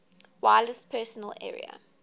wireless personal area